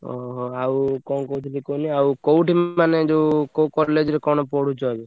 ଓହୋ! ଆଉ କଣ କହୁଥିଲି କୁହନି ଆଉ କୋଉଠି ମାନେ ଯୋଉ କୋଉ college ରେ କଣ ପଢୁଛ ଏବେ?